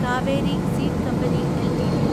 Kaveri seed company LTD